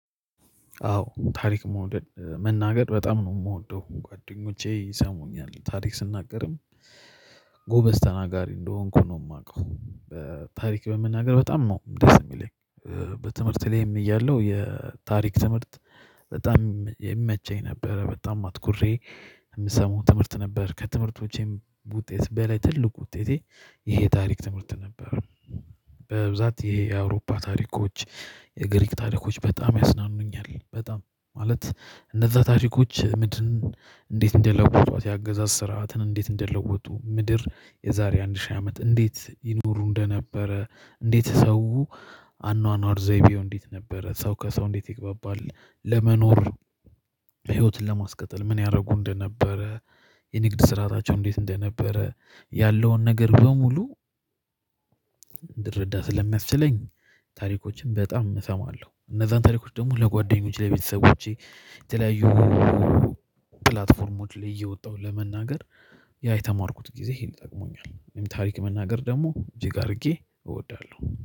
አዎ ታሪክ መውደድ መናገር በጣም ነው የምወደው ጓደኞቼ ይሰሙኛል ታሪክ ስናገርም ጎበዝ ተናጋሪ እንደሆንኩ ነው የማውቀው ታሪክ በመናገር በጣም ነው ደስ የሚለኝ። በትምህርት ላይም እያለሁ የታሪክ ትምህርት በጣም የሚመቸኝ ነበረ በጣም አትኩሬ የምሰማው ትምህርት ነበር ከትምህርቶቼም ውጤት በላይ ትልቁ ውጤቴ ይሄ ታሪክ ትምህርት ነበር። በብዛት ይሄ የአውሮፓ ታሪኮች የግሪክ ታሪኮች በጣም ያዝናኑኛል በጣም ማለት እነዛ ታሪኮች ምድርን። እንዴት እንደለወጡት ያገዛዝ ስርዓትን እንዴት እንደለወጡ ምድር የዛሬ አንድ ሺህ አመት እንዴት ይኖሩ እንደነበረ እንዴት ሰው አኗኗር ዘይቤው እንዴት ነበረ ሰው ከሰው እንዴት ይግባባል ለመኖር። ህይወትን ለማስቀጠል ምን ያደረጉ እንደነበረ የንግድ ስርዓታቸው እንዴት እንደነበረ ያለውን ነገር በሙሉ እንድረዳ ስለሚያስችለኝ። ታሪኮችን በጣም እሰማለሁ እነዛን ታሪኮች ደግሞ ለጓደኞቼ ለቤተሰቦቼ የተለያዩ ፕላትፎርሞች ላይ እየወጣሁ ለመናገር። ያ የተማርኩት ጊዜ ይሄን ይጠቅመኛል ወይም ታሪክ መናገር ደግሞ እጅግ አድርጌ እወዳለሁ